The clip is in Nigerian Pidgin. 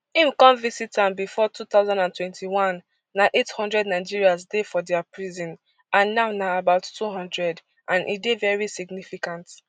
im come visit am before two thousand and twenty-one na eight hundred nigerians dey for dia prison and now na about two hundred and e dey very significant